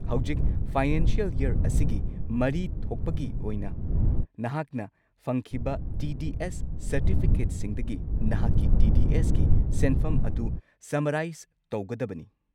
ꯍꯧꯖꯤꯛ financial year ꯑꯁꯤꯒꯤ ꯃꯔꯤ ꯊꯣꯛꯄꯒꯤ ꯑꯣꯏꯅ ꯅꯍꯥꯛꯅ ꯐꯪꯈꯤꯕ ꯇꯤ. ꯗꯤ. ꯑꯦꯁ. ꯁꯔꯇꯤꯐꯤꯀꯦꯠꯁꯤꯡꯗꯒꯤ ꯅꯍꯥꯛꯀꯤ ꯇꯤ. ꯗꯤ. ꯑꯦꯁ. ꯀꯤ ꯁꯦꯟꯐꯝ ꯑꯗꯨ ꯁꯝꯃꯔꯥꯏꯁ ꯇꯧꯒꯗꯕꯅꯤ꯫